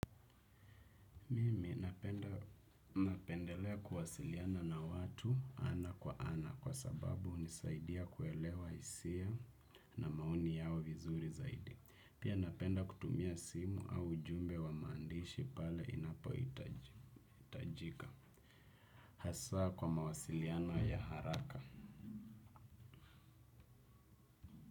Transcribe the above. Mimi napenda napendelea kuwasiliana na watu ana kwa ana kwa sababu hunisaidia kuelewa hisia na maoni yao vizuri zaidi. Pia napenda kutumia simu au ujumbe wa maandishi pale inapohitajika. Hasa kwa mawasiliano ya haraka.